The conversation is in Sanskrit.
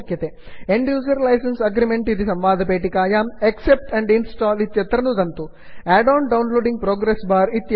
end user licence agreement and user licence agreement इति संवादपेटिकायां accept and install accept and install इत्यत्र नुदन्तु